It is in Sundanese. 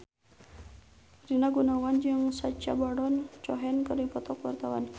Rina Gunawan jeung Sacha Baron Cohen keur dipoto ku wartawan